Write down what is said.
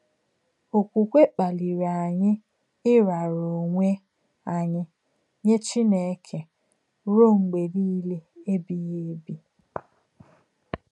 Òkwùkwè kpàlìrì ányị̀ ịràrà ònwè ányị̀ nyè Chínèkè rùò m̀gbè nìlè èbìghí èbì.